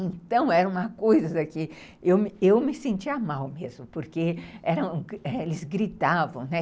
Então era uma coisa que eu eu me sentia mal mesmo, porque eles gritavam, né?